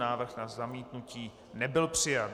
Návrh na zamítnutí nebyl přijat.